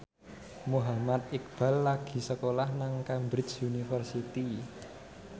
Muhammad Iqbal lagi sekolah nang Cambridge University